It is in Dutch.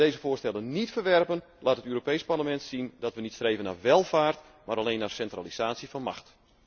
Als wij deze voorstellen niet verwerpen, laat het Europees Parlement zien dat wij niet streven naar welvaart, maar alleen naar centralisatie van macht.